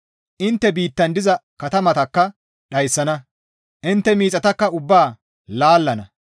Intte biittan diza katamatakka dhayssana; intte miixataka ubbaa laallana.